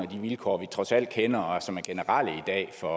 de vilkår vi trods alt kender og som er generelle i dag for